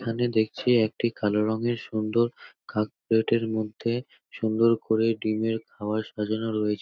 এখানে দেখছি কালো রংয়ের সুন্দর কাপ প্লেট -এর মধ্যে সুন্দর করে ডিম এর খাবার সাজানো রয়েছে --